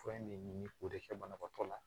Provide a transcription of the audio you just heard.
Fura in ne ni o de kɛ banabaatɔ la